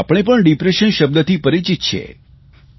આપણે પણ ડિપ્રેશન શબ્દથી પરિચિત છીએ